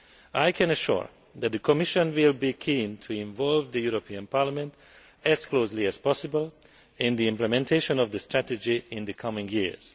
I can assure you that the Commission will be keen to involve Parliament as closely as possible in the implementation of the strategy in the coming years.